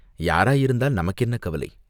யாராயிருந்தால் நமக்கு என்ன கவலை?